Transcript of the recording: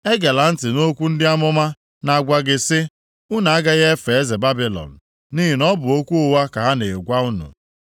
Egela ntị nʼokwu ndị amụma na-agwa gị sị, ‘Unu agaghị efe eze Babilọn,’ nʼihi na ọ bụ okwu ụgha ka ha na-agwa unu.